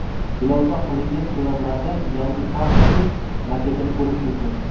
Ilova qilingan suratlarda yangi kampusning maketini ko‘rish mumkin.